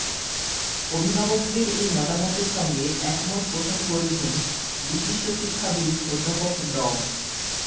অভিভাবকদের এই মতামতের সঙ্গে একমত পোষণ করেছেন বিশিষ্ট শিক্ষাবিদ অধ্যাপক ড